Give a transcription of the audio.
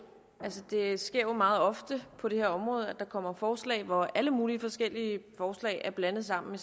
dele det sker jo meget ofte på det her område at der kommer forslag hvor alle mulige forskellige forslag er blandet sammen